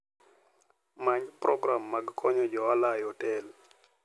Many program mag konyo jo ohala e otel.